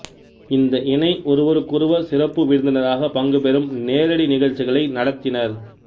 இந்த இணை ஒருவருக்கொருவர் சிறப்பு விருந்தினராக பங்குபெறும் நேரடி நிகழ்ச்சிகளை நடத்தினர்